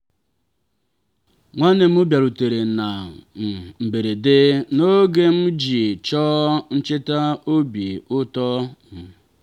nwanne m bịarutere na um mberede n’oge m ji chọọ ncheta obi ụtọ. um